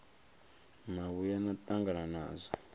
na vhuya na tangana nazwo